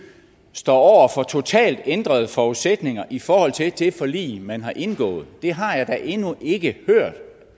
står over for totalt ændrede forudsætninger i forhold til det forlig man har indgået det har jeg da endnu ikke hørt